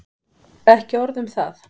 Ekki orð um það!